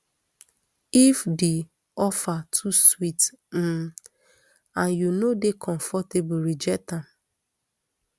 if di offer too sweet um and you no dey comfortable reject am